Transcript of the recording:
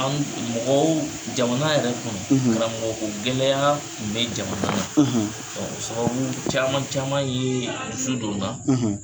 Mɔgɔw, jamana yɛrɛ kɔnɔ, , karamɔgɔ ko gɛlɛyaya tun bɛ jamana na, , o sababu caman caman ye dusu don n la,